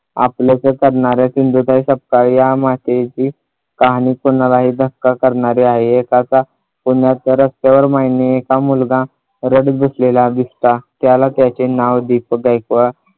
आपलंसं करणाऱ्या सिंधुताई सपकाळ या मातेची कहानी कुणालाही धक्का करणारी आहे. एक असा पुण्याच्या रस्त्यावर माईंना एक मुलगा रडत बसलेला दिसला त्याला त्याचे नाव दीपक गायकवाड